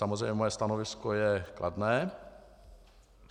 Samozřejmě moje stanovisko je kladné.